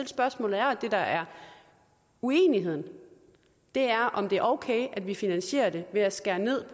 spørgsmålet er og det der er uenigheden er om det er okay at vi finansierer det ved at skære ned